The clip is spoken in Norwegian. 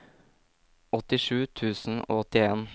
åttisju tusen og åttien